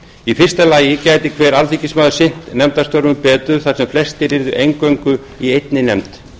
í fyrsta lagi gæti hver alþingismaður sinnt nefndastörfum betur þar sem flestir yrðu eingöngu í einni nefnd